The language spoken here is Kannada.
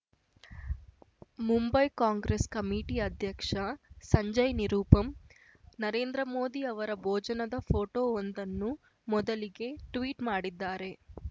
ಮುಂಬೈ ಕಾಂಗ್ರೆಸ್‌ ಕಮಿಟಿ ಅಧ್ಯಕ್ಷ ಸಂಜಯ್‌ ನಿರುಪಮ್‌ ನರೇಂದ್ರ ಮೋದಿಯವರ ಭೋಜನದ ಫೋಟೋವೊಂದನ್ನು ಮೊದಲಿಗೆ ಟ್ವೀಟ್‌ ಮಾಡಿದ್ದಾರೆ